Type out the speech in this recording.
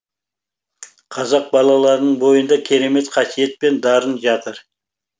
қазақ балаларының бойында керемет қасиет пен дарын жатыр